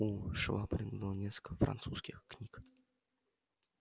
у швабрина было несколько французских книг